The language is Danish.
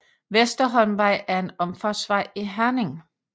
Vesterholmvej er en omfartsvej i Herning